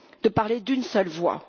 de parler d'une seule voix.